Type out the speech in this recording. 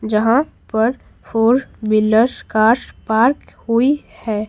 जहां पर four wheeler cars park हुई है।